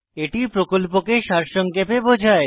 এটি প্রকল্পকে সারসংক্ষেপে বোঝায়